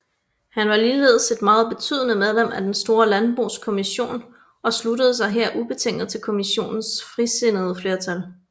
Han var ligeledes et meget betydende medlem af Den Store Landbokommission og sluttede sig her ubetinget til Kommissionens frisindede flertal